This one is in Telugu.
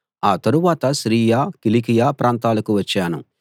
ఆ తరువాత సిరియా కిలికియ ప్రాంతాలకు వచ్చాను